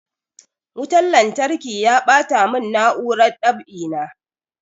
Wutan lantarki ya ɓata mun na'urar dab'i na